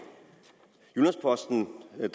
er